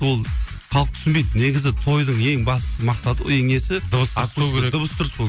ол халық түсінбейді негізі тойдың ең басты мақсаты ең несі дыбыс дұрыс болу керек